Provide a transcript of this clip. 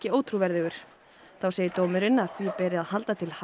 þá segir dómurinn að því beri að halda til haga að við leit á